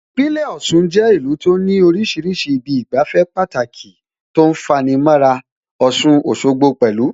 Ìpínlẹ̀ Ọ̀ṣun jẹ́ ìlú tó ní oríṣiríṣi ibi ìgbafẹ́ Pàtàki tó ń fani mọ́ra, Ọ̀ṣun Òṣogbo pẹ̀lú